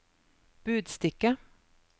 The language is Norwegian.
budstikke